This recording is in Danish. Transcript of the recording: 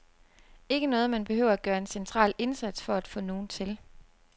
Ikke noget, man behøver at gøre en central indsats for at få nogen til.